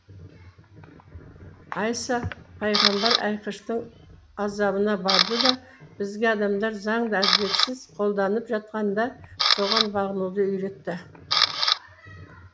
айса пайғамбар айқыштың азабына барды да бізге адамдар заңды әділетсіз қолданып жатқанда соған бағынуды үйретті